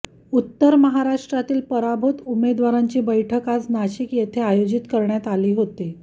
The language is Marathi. उत्तर महाराष्ट्रातील पराभूत उमेदवारांची बैठक आज नाशिक येथे आयोजित करण्यात आली होती